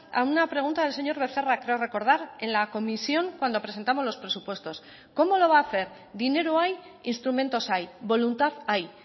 a una pregunta del señor becerra creo recordar en la comisión cuando presentamos los presupuestos cómo lo va a hacer dinero hay instrumentos hay voluntad hay